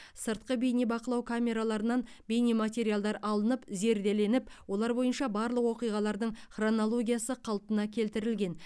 сыртқы бейнебақылау камераларынан бейнематериалдар алынып зерделеніп олар бойынша барлық оқиғалардың хронологиясы қалпына келтірілген